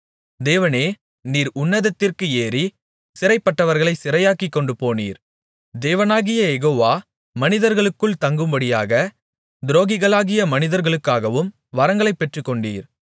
தேவனே நீர் உன்னதத்திற்கு ஏறி சிறைப்பட்டவர்களைச் சிறையாக்கிக் கொண்டுபோனீர் தேவனாகிய யெகோவா மனிதர்களுக்குள் தங்கும்படியாக துரோகிகளாகிய மனிதர்களுக்காகவும் வரங்களைப் பெற்றுக்கொண்டீர்